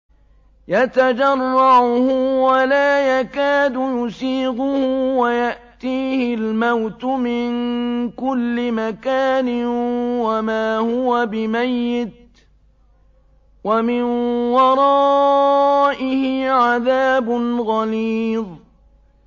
يَتَجَرَّعُهُ وَلَا يَكَادُ يُسِيغُهُ وَيَأْتِيهِ الْمَوْتُ مِن كُلِّ مَكَانٍ وَمَا هُوَ بِمَيِّتٍ ۖ وَمِن وَرَائِهِ عَذَابٌ غَلِيظٌ